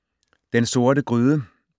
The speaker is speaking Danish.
Den Sorte Gryde